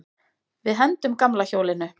Við hendum gamla hjólinu.